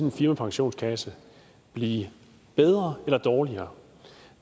en firmapensionskasse blive bedre eller dårligere